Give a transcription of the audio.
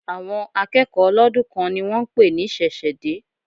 Àwọn akẹ́kọ̀ọ́ ọlọ́dún kan ni wón ń pè ní ṣẹ̀ṣẹ̀ dé.